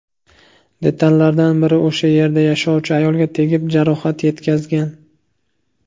Detallardan biri o‘sha yerda yashovchi ayolga tegib, jarohat yetkazgan.